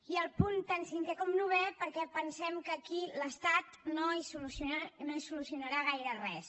i als punts tant cinquè com novè perquè pensem que aquí l’estat no hi solucionarà gaire res